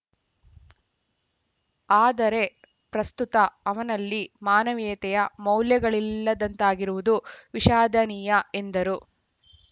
ಆದರೆ ಪ್ರಸ್ತುತ ಅವನಲ್ಲಿ ಮಾನವೀಯತೆಯ ಮೌಲ್ಯಗಳಿಲ್ಲದಂತಾಗಿರುವುದು ವಿಷಾದನೀಯ ಎಂದರು